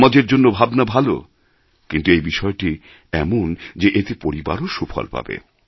সমাজের জন্য ভাবনা ভালো কিন্তু এই বিষয়টি এমন যে এতে পরিবারও সুফল পাবে